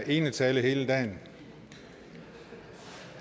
enetale hele dagen